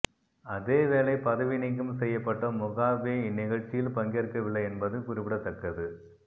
அதேவேளை பதவி நீக்கம் செய்யப்பட்ட முகாபே இந்நிகழ்ச்சியில் பங்கேற்கவில்லை என்பது குறிப்பிடத்தக்கது